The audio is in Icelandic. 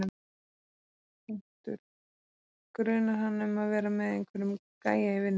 . grunar hana um að vera með einhverjum gæja í vinnunni.